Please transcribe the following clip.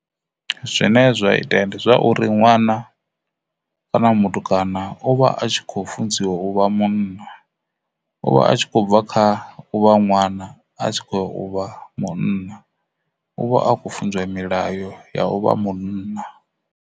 Zwine zwa itea ndi zwa uri ṅwana kana mutukana uvha a kho funziwa u vha munna u vha a tshi khou bva kha u vha ṅwana a tshi khoya u vha munna u vha a khou funziwa milayo ya u vha munna.